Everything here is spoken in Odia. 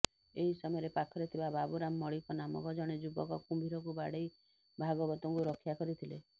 ଏହି ସମୟରେ ପାଖରେ ଥିବା ବାବୁରାମ ମଳିକ ନାମକ ଜଣେ ଯୁବକ କୁମ୍ଭୀରକୁ ବାଡେଇ ଭାଗବତଙ୍କୁ ରକ୍ଷା କରିଥିଲେ